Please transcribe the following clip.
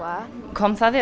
kom það